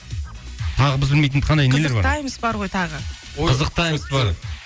тағы біз білмейтін қайдай нелер бар қызық таймс бар ғой тағы қызық таймс бар